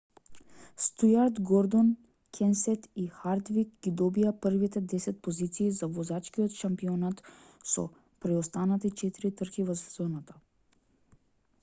стујарт гордон кенсет и харвик ги добија првите десет позиции за возачкиот шампионат со преостанати четири трки во сезоната